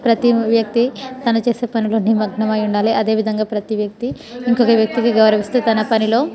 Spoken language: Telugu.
ప్రతి వక్తి తన చేసి పనులో నిమగ్నమై ఉండాలి అధే విధంగా ప్రతి వక్తి ఇంకొక వ్యక్తి కి గౌరవిస్తే తన పనిలో --